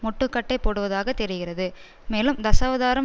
முட்டுக்கட்டை போடுவதாக தெரிகிறது மேலும் தசாவதாரம்